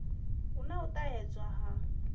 hu na u ṱahedzwa ha